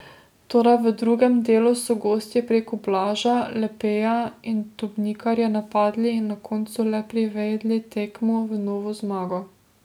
Toda v drugem delu so gostje preko Blaža, Lepeja in Dobnikarja napadli in na koncu le privedli tekmo v novo zmago.